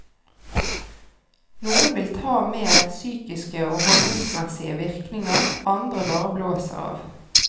Noen vil ta med psykiske og holdningsmessige virkninger andre bare blåser av.